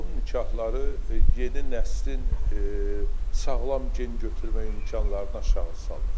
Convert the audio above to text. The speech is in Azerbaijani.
Qohum nikahları yeni nəslin sağlam gen götürmək imkanlarını aşağı salır.